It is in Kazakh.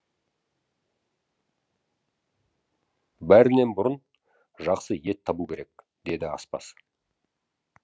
бәрінен бұрын жақсы ет табу керек деді аспаз